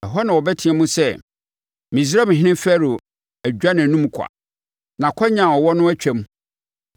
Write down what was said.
Ɛhɔ na wɔbɛteam sɛ, ‘Misraimhene Farao dwa nʼanom kwa; nʼakwannya a ɔwɔ no atwam.’